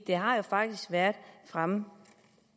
det har faktisk været fremme